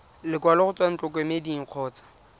lekwalo go tswa ntlokemeding kgotsa